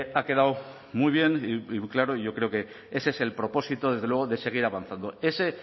ha quedado muy bien y claro y yo creo que ese es el propósito desde luego de seguir avanzando ese